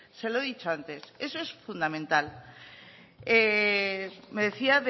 se lo he dicho antes eso es fundamental me decía